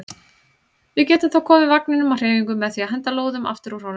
Við getum þá komið vagninum á hreyfingu með því að henda lóðum aftur úr honum.